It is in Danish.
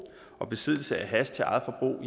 og besiddelse af hash til eget forbrug